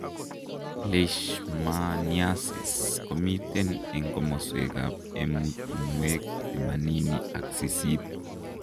Leishmaniasis komiiten eng' komoswek ab emutunwek temanini ak sisit